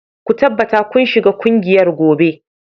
Ku tabbata kun shiga kungiyar gobe